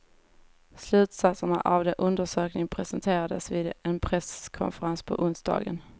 Slutsatserna av undersökningen presenterades vid en presskonferens på onsdagen.